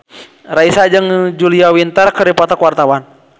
Raisa jeung Julia Winter keur dipoto ku wartawan